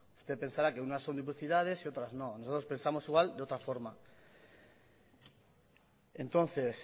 usted pensará que unas son duplicidades y otras no nosotros pensamos igual de otra forma entonces